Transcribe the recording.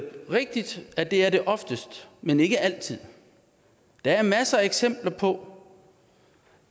rigtigt at det er det oftest men ikke altid der er masser af eksempler på